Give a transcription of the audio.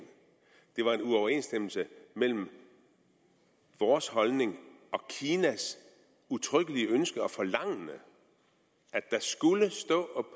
det var en uoverensstemmelse mellem vores holdning og kinas udtrykkelige ønske og forlangende at der skulle stå